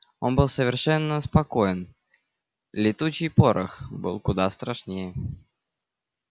он был совершенно спокоен летучий порох был куда страшнее